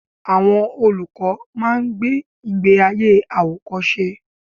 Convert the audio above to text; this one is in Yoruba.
Àwọn olùkọ́ máa ń gbé ìgbé ayé àwòkọ́ṣe.